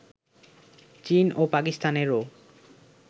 চীন ও পাকিস্তানেরও